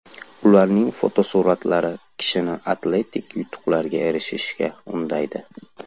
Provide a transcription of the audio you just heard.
Ularning fotosuratlari kishini atletik yutuqlarga erishishga undaydi.